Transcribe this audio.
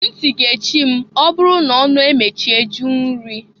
Nti ga-echi m'ọ bụrụ na ọnụ emechie jụ nri.